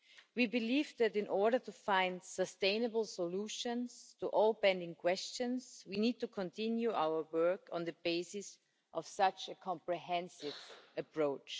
We believe that, in order to find sustainable solutions to all pending questions, we need to continue our work on the basis of such a comprehensive approach.